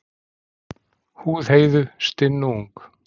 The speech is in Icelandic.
Húð Heiðu stinn og ung.